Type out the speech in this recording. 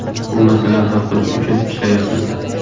Bu masalani hal qilish uchun ishlayapmiz.